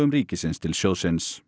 ríkisins til sjóðsins